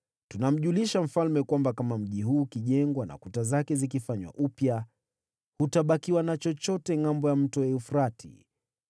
Tunamjulisha mfalme kwamba kama mji huu ukijengwa na kuta zake zikifanywa upya, hutabakiwa na chochote Ngʼambo ya Mto Frati.